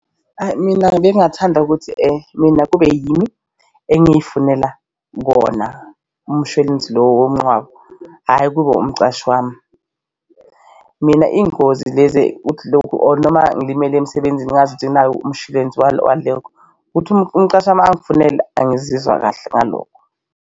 Hhayi mina bengingathanda ukuthi mina kube yimi engifunela wona umshwalensi lo womncwabo, hhayi kube umqashi wami. Mina iy'ngozi lezi uthi lokhu or noma ngilimele emsebenzini ngazi ukuthi nayo umshwalensi ukuthi umqashi wami angifunele angizizwa kahle ngalokho.